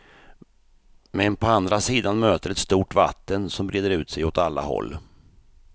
Men på andra sidan möter ett stort vatten som breder ut sig åt alla håll.